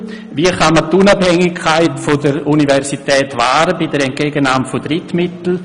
Wie kann man die Unabhängigkeit der Universität wahren bei der Entgegennahme von Drittmitteln?